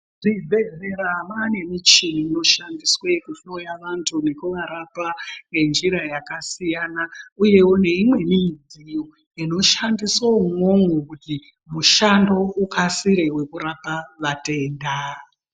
Muzvibhedhlera mane michini inoshandiswa kuhloya vantu nekuvarapa ngenjira yakasiyana uyewo neimweni midziyo inoshandisa imwomwo kuti mushando ukasire wekurapa matenda.